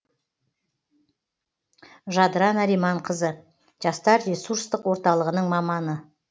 жадыра нариманқызы жастар ресурстық орталығының маманы